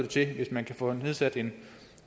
til hvis man kan få nedsat en